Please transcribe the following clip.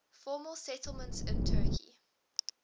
former settlements in turkey